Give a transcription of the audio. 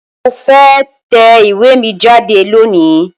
Mo fe tẹ iwe mi jade loni